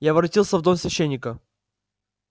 я воротился в дом священника